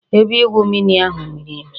Ebe igwu mmiri ahu miri emi